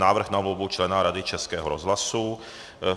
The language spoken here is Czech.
Návrh na volbu člena Rady Českého rozhlasu